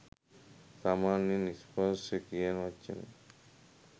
සාමාන්‍යයෙන් ස්පර්ශය කියන වචනය